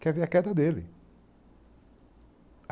Quer ver a queda dele.